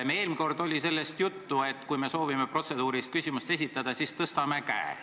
Meil eelmine kord oli sellest juttu, et kui me soovime protseduurilist küsimust esitada, siis tõstame käe.